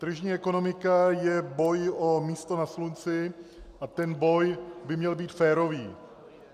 Tržní ekonomika je boj o místo na slunci a ten boj by měl být férový.